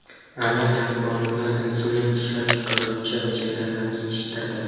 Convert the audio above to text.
Amerikalik olimlar insulin ishlab chiqaruvchi hujayralarni yetishtirdi.